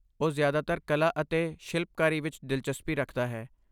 ਉਹ ਜ਼ਿਆਦਾਤਰ ਕਲਾ ਅਤੇ ਸ਼ਿਲਪਕਾਰੀ ਵਿੱਚ ਦਿਲਚਸਪੀ ਰੱਖਦਾ ਹੈ।